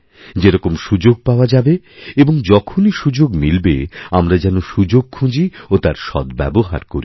যেরকম সুযোগ পাওয়া যাবে এবং যখনইসুযোগ মিলবে আমরা যেন সুযোগ খুঁজি ও তার সদ্ব্যবহার করি